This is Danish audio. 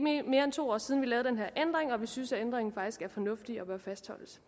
er ikke mere end to år siden vi lavede den her ændring og vi synes ændringen faktisk er fornuftig og bør fastholdes